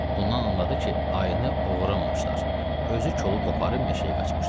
Bundan anladı ki, ayını oğuramamışdılar, özü kolu qoparıb meşəyə qaçmışdı.